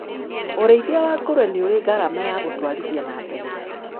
ũrĩithia wa ngũrũwe nĩũrĩgarama ya gũtwarithia na mbere.